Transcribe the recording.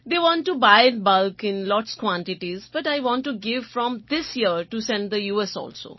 They want to buy in bulk in lots quantities but I want to give from this year to send the u